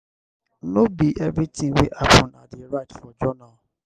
no be everytin wey happen i dey write for journal.